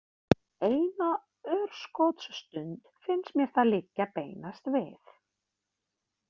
Eina örskotsstund finnst mér það liggja beinast við.